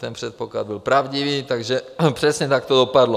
Ten předpoklad byl pravdivý, takže přesně tak to dopadlo.